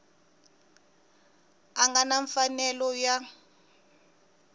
a nga na mfanelo ya